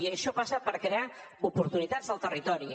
i això passa per crear oportunitats al territori